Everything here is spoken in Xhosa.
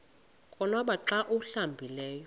konwaba xa awuhlambileyo